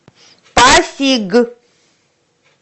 пасиг